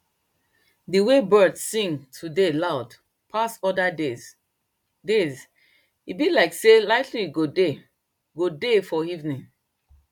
dey wey birds sing todayloud pass other days days e be like sey lighting go dey go dey for evening